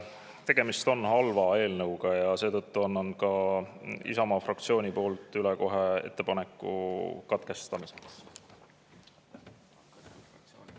Tegemist on halva eelnõuga ja seetõttu annan kohe üle ka Isamaa fraktsiooni ettepaneku katkestamiseks.